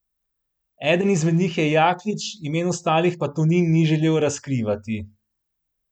Eden izmed njih je Jaklič, imen ostalih pa Tonin ni želel razkrivati.